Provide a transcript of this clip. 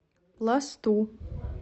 пласту